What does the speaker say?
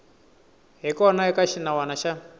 hi kona eka xinawana xa